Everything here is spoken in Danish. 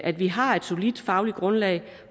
at vi har et solidt fagligt grundlag